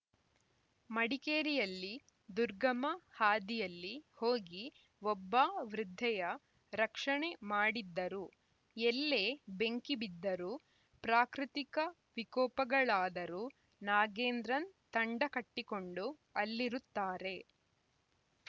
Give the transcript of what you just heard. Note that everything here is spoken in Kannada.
ಮಡಿಕೇರಿಯಲ್ಲಿ ದುರ್ಗಮ ಹಾದಿಯಲ್ಲಿ ಹೋಗಿ ಒಬ್ಬ ವೃದ್ಧೆಯ ರಕ್ಷಣೆ ಮಾಡಿದ್ದರು ಎಲ್ಲೇ ಬೆಂಕಿ ಬಿದ್ದರೂ ಪ್ರಾಕೃತಿಕ ವಿಕೋಪಗಳಾದರೂ ನಾಗೇಂದ್ರನ್‌ ತಂಡ ಕಟ್ಟಿಕೊಂಡು ಅಲ್ಲಿರುತ್ತಾರೆ